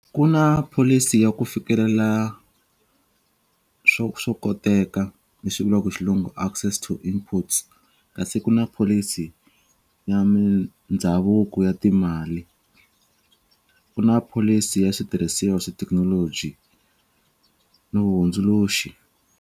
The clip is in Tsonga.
Ku na pholisi ya ku fikelela swo swo koteka leswi vuriwaka ku xilungu access to inputs kasi ku na pholisi ya mindhavuko ya timali ku na pholisi ya switirhisiwa swa technology no hundzuluxi.